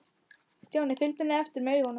Stjáni fylgdu henni eftir með augunum.